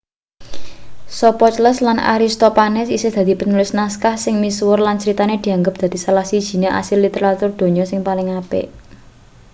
sophocles lan aristophanes isih dadi penulis naskah sing misuwur lan critane dianggep dadi salah sijine asil literatur donya sing paling apik